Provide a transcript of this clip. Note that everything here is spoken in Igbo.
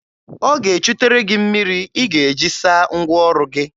Ọ ga-echutere gị mmiri ị ga-eji saa ngwa ọrụ gị.